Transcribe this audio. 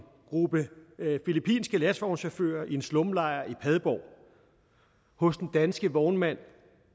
gruppe filippinske lastvognschauffører i en slumlejr i padborg hos den danske vognmand